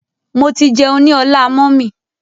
Mo ti jẹun ní ọlá mummy.